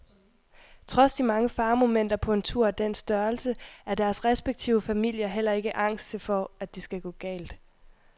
Trods de mange faremomenter på en tur af den størrelse er deres respektive familier heller ikke angste for at det skal gå galt.